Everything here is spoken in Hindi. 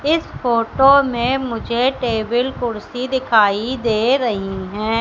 इस फोटो में मुझे टेबल कुर्सी दिखाई दे रही है।